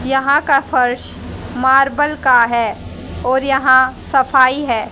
यहां का फर्श मार्बल का है और यहां सफाई है।